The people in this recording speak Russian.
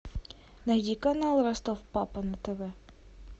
найди канал ростов папа на тв